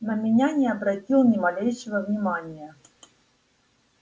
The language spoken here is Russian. на меня не обратил ни малейшего внимания